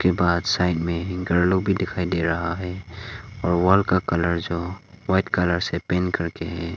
बाहर साइड में घर लोग भी दिखाई दे रहा है और वॉल का कलर जो व्हाइट कलर से पेंट करके है।